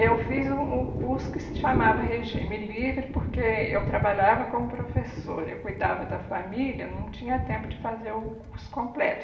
Eu fiz um um curso que se chamava Regime Livre, porque eu trabalhava como professora, eu cuidava da família, não tinha tempo de fazer o curso completo.